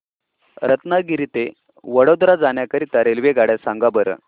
रत्नागिरी ते वडोदरा जाण्या करीता रेल्वेगाड्या सांगा बरं